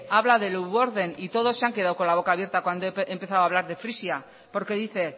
habla de leeuwarden y todos se han quedado con la boca abierta cuando he empezado a hablar de frisia porque dice